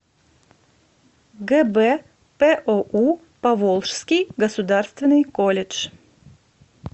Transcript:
гбпоу поволжский государственный колледж